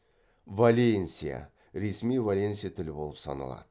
валенсия